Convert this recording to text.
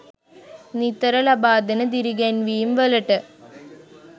නිතර ලබා දෙන දිරිගැන්වීම් වලට.